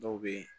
Dɔw bɛ yen